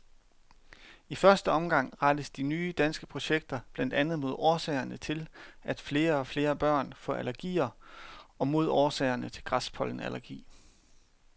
I første omgang rettes de nye danske projekter blandt andet mod årsagerne til, at flere og flere børn får allergier og mod årsagerne til græspollenallergi.